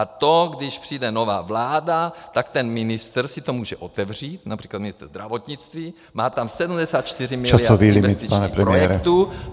A to, když přijde nová vláda, tak ten ministr si to může otevřít, například ministr zdravotnictví, má tam 74 miliard investičních projektů.